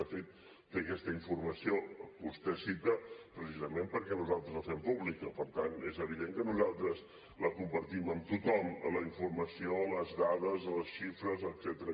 de fet té aquesta informació que vostè cita precisament perquè nosaltres la fem pública per tant és evident que nosaltres la compartim amb tothom la informació les dades les xifres etcètera